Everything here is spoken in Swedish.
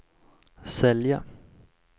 sälja